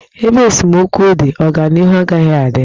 Ebe esemokwu dị, ọganịhu agaghị adị.